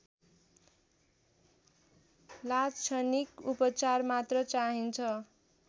लाक्षणिक उपचार मात्र चाहिन्छ